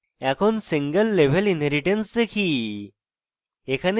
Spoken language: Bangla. এখন single level inheritance দেখি